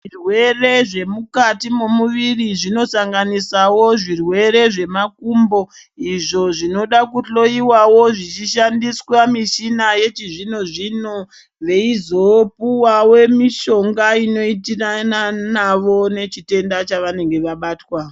Zvirwere zvemukati mumuviri zvinosanganisawo zvirwere zvemakumbo. Izvo, zvinoda kuhloyiwawo zvichishandiswa michina yechizvino zvino veyizopuwawe mishonga inoitiranawo nechitenda chavanenge vabatwa.